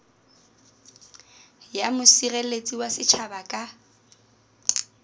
ya mosireletsi wa setjhaba ka